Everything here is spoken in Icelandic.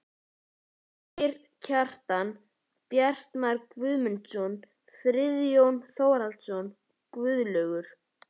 Birgir Kjaran, Bjartmar Guðmundsson, Friðjón Þórðarson, Guðlaugur